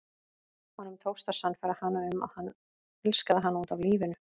Honum tókst að sannfæra hana um að hann elskaði hana út af lífinu.